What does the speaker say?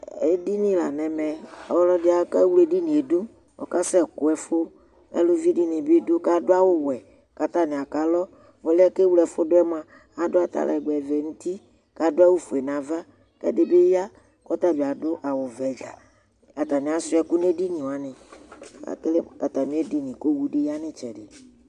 ɛɗiɲilɑɲɛmɛ ɑkɛwlɛ ɛɗiɲiɛɗω ɔkɑsɛkωɛfu ɑlωviɗiṅibiɗω kɑɗωɑwωwẽ kɑtɑɲiakɑlɔɔlωɛ kɛvlɛfωɗuɛ ɑɗω ɑtɑlégbẽvẽ ɲuti kɑɗuɑWωfuɛɲɑvɑ kɛɗibiyɑ ɑtaɲiɑ ƈhuɑ ɛkωɲɛɗiɲiwɑṅi ɑtɑmiɛɗiɲi kowωɗiyɑɲitsɛɗi